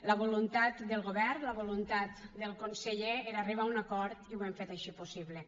la voluntat del govern la voluntat del conseller era arribar a un acord i ho hem fet així possible